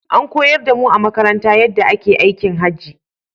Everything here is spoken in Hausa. An koyar da mu a makaranta yaɗɗa ake aikin Hajji